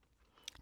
DR1